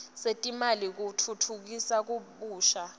setimali tekutfutfukisa kabusha